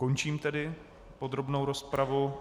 Končím tedy podrobnou rozpravu.